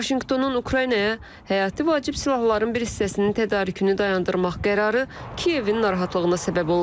Vaşinqtonun Ukraynaya həyati vacib silahların bir hissəsinin tədarükünü dayandırmaq qərarı Kiyevin narahatlığına səbəb olub.